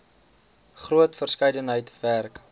groot verskeidenheid werk